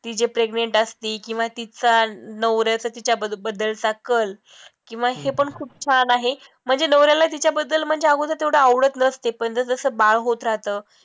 ती जे pregnant असते किंवा तिच्या नवऱ्याचं तिच्या बद्दलचा कल किंवा हे पण खूप छान आहे म्हणजे नवऱ्यालाही तिच्याबद्दल म्हणजे अगोदर तेवढं आवडत नसतं पण जस जसं बाळ होतं राहतं.